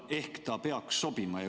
Ehk ta peaks sobima.